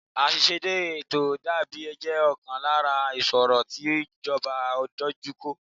Aiṣedẹde ètò àbò jẹ ọ̀kan lára ìṣòro tí ìjọba dojú kọ